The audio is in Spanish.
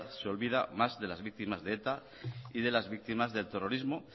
de olvida más de las víctimas de eta y de las víctimas del terrorismo